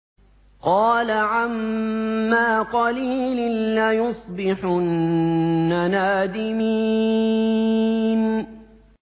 قَالَ عَمَّا قَلِيلٍ لَّيُصْبِحُنَّ نَادِمِينَ